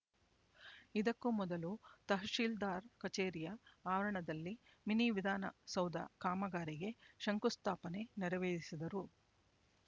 ಇದಕ್ಕೂ ಮೊದಲು ತಹಶೀಲ್ದಾರ್ ಕಛೇರಿಯ ಆವರಣದಲ್ಲಿ ಮಿನಿವಿಧಾನ ಸೌಧ ಕಾಮಗಾರಿಗೆ ಶಂಕುಸ್ಥಾಪನೆ ನೆರವೇರಿಸಿದರು